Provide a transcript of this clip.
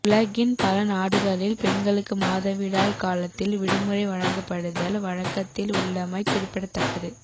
உலகின் பல நாடுகளில் பெண்களுக்கு மாதவிடாய் காலத்தில் விடுமுறை வழங்கப்படுதல் வழக்கத்தில் உள்ளமை குறிப்பிடத்தக்கது